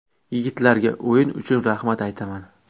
Yigitlarga o‘yin uchun rahmat aytaman.